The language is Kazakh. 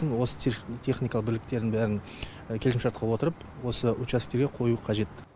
осы техника бірліктерін бәрін келісімшартқа отырып осы учасктерге қою қажет